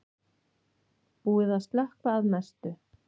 Búið að slökkva að mestu